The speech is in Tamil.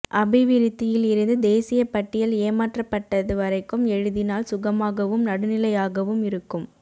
அபிவிருத்தியில் இருந்து தேசிய பட்டியல் ஏமாற்றப்பட்டது வரைக்கும் எழுதினால் சுகமாகவும் நடுநிலையாகவும் இருக்கும்